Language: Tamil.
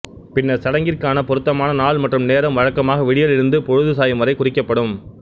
பின்னர் சடங்கிற்கான பொருத்தமானநாள் மற்றும் நேரம் வழக்கமாக விடியலிலிருந்து பொழுது சாயும் வரை குறிக்கப்படும்